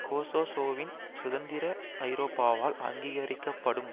கொசோவோவின் சுதந்திரம் ஐரோப்பாவால் அங்கீகரிக்கப்படும்